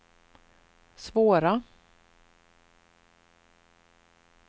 svåra